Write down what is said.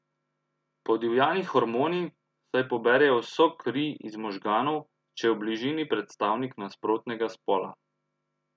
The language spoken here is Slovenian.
Podivjani hormoni, saj poberejo vso kri iz možganov, če je v bližini predstavnik nasprotnega spola.